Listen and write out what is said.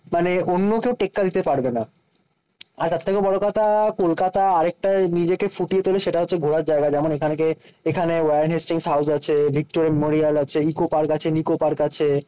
মানে অন্য কেউ টেক্কা দিতে পারবে না। আর তার থেকেও বড়ো কথা কলকাতা আরেকটা নিজেকে ফুটিয়ে তোলে, সেটা হচ্ছে ঘোরার জায়গা। যেমন এখান কে এখানে ওয়ারেন হেস্টিংস হাউস আছে, ভিক্টোরিয়া মেমোরিয়াল আছে, ইকো পার্ক আছে, নিকো পার্ক আছে।